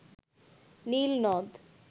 নীল নদ